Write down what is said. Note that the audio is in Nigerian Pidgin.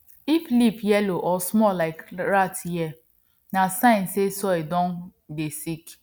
if leaf yellow or small like rat ear na sign say soil don dey sick